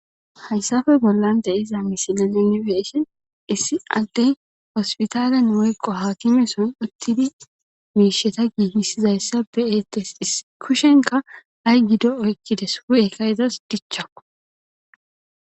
hayssafe bollande iza misile unibe'shen issi addey hospitaalen woyqo haakimeson uttidi miisheta giigissizayssa be'eetes kushenka ha7y gido oykkides hu7ekayzas dichchako